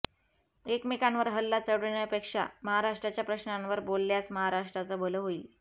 एकमेकांवर हल्ला चढवण्यापेक्षा महाराष्ट्राच्या प्रश्नांवर बोलल्यास महाराष्ट्राचं भलं होईल